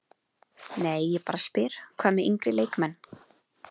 Nei ég bara spyr, hvað með yngri leikmenn?